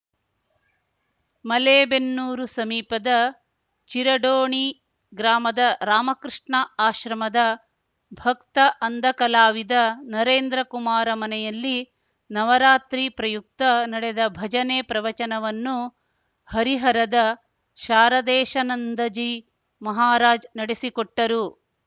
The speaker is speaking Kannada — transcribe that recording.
ಮಲೇಬೆನ್ನೂರು ಸಮೀಪದ ಚಿರಡೋಣಿ ಗ್ರಾಮದ ರಾಮಕೃಷ್ಣ ಆಶ್ರಮದ ಭಕ್ತ ಅಂಧ ಕಲಾವಿದ ನರೇಂದ್ರಕುಮಾರ ಮನೆಯಲ್ಲಿ ನವರಾತ್ರಿ ಪ್ರಯುಕ್ತ ನಡೆದ ಭಜನೆ ಪ್ರವಚನವನ್ನು ಹರಿಹರದ ಶಾರದೇಶನಂದಜೀ ಮಹಾರಾಜ್‌ ನಡೆಸಿಕೊಟ್ಟರು